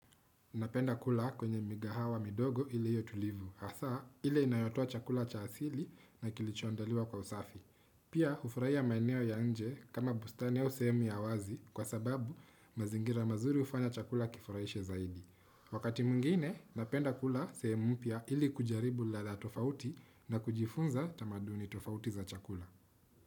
Napenda kula kwenye migahawa midogo iliyo tulivu, hasa ili inayotoa chakula cha asili na kilichoondaliwa kwa usafi. Pia hufurahia maeneo ya nje kama bustani au sehemu ya wazi kwa sababu mazingira mazuri ufanya chakula kifuraishe zaidi. Wakati mwingine, napenda kula sehemu mpya ili kujaribu ladha tofauti na kujifunza tamaduni tofauti za chakula.